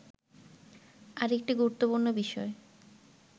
আরেকটি গুরুত্বপূর্ণ বিষয়